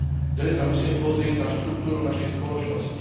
Ďalej sa musíme pozrieť na štruktúru našej spoločnosti.